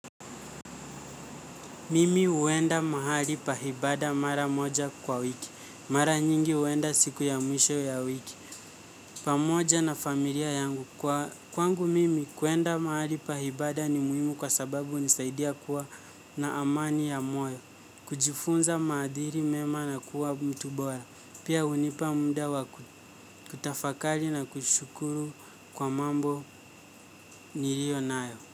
Mimi uwenda mahali pahibada mara moja kwa wiki, mara nyingi uwenda siku ya mwisho ya wiki, pamoja na familia yangu kwa kwangu mimi kuenda mahali pahibada ni muhimu kwa sababu nisaidia kuwa na amani ya moyo, kujifunza madhiri mema na kuwa mtubora, pia unipa mda wa kutafakali na kushukuru kwa mambo nirio nayo.